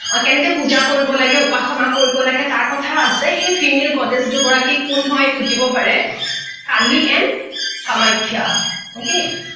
কেনেকে পূজা কৰিব লাগে উপাসনা কৰিব লাগে তাৰ কথা আছে সেই female garage দুগৰাকী কোন হয় সুধিব পাৰে কালি and কামাখ্যা okay